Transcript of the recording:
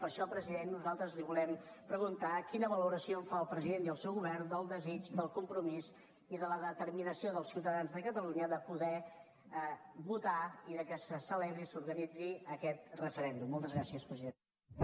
per això president nosaltres li volem preguntar quina valoració en fan el president i el seu govern del desig del compromís i de la determinació dels ciutadans de catalunya de poder votar i de que se celebri i s’organitzi aquest referèndum moltes gràcies president